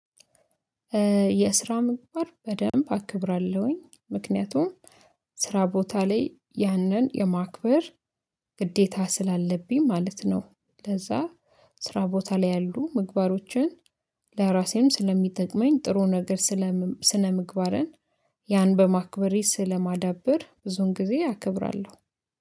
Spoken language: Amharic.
የስራ ምግባር በደንብ አክብራለሁኝ ምክንያቱም ስራ ቦታ ላይ ያንን የማክበር ግዴታ ስላለብኝ ማለት ነው። ለዛ ስራ ቦታ ላይ ያሉ ምግባሮችን ለራሴም ስለሚጠቅመኝ ጥሩ ነገር ስለ ስነ ምግባርን ያን በማክበሬ ስለማዳብር ብዙን ጊዜ አከብራለሁ